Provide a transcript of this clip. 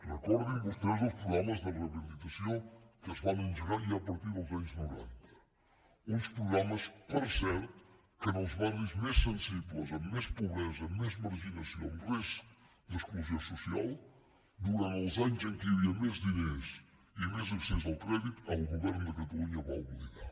recordin vostès els programes de rehabilitació que es van engegar ja a partir dels anys noranta uns programes per cert que en els barris més sensibles amb més pobresa amb més marginació amb risc d’exclusió social durant els anys en què hi havia més diners i més accés al crèdit el govern de catalunya va oblidar